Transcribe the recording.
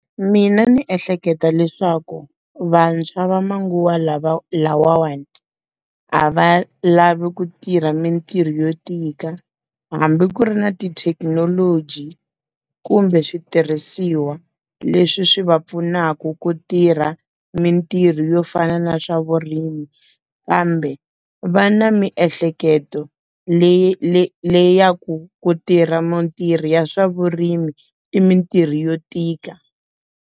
Mina ndzi ehleketa leswaku vantshwa va manguva lawa lavawani a va lavi ku tirha mintirho yo tika hambi ku ri na tithekinoloji kumbe switirhisiwa leswi swi va pfunaka ku tirha mintirho yo fana na swa vurimi kambe va na miehleketo l le ya ku ku tirha mintirho ya swa vurimi i mintirho yo tika.